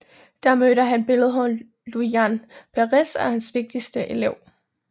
Der mødte han billedhuggeren Luján Pérez og blev hans vigtigste elev